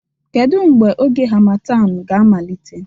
Kedu mgbe oge harmattan ga-amalite?